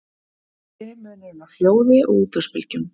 hver er munurinn á hljóði og útvarpsbylgjum